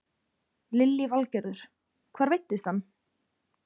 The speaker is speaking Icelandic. Lillý Valgerður: Hvar veiddist hann?